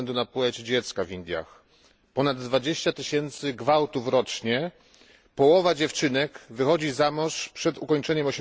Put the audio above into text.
ze względu na płeć dziecka w Indiach, ponad 20 tysięcy gwałtów rocznie, połowa dziewczynek wychodzi za mąż przed ukończeniem